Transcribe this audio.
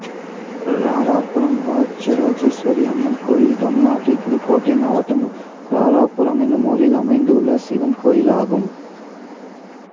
ராராபுரம் ராஜராஜேஸ்வரியம்மன் கோயில் தமிழ்நாட்டில் புதுக்கோட்டை மாவட்டம் ராராபுரம் என்னும் ஊரில் அமைந்துள்ள சிவன் கோயிலாகும்